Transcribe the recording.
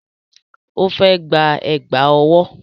Ó fẹ́ gba Ẹ̀gbá ọwọ́